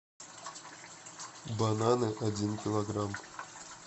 бананы один килограмм